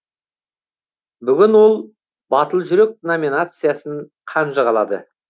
бүгін ол батыл жүрек номинациясын қанжығалады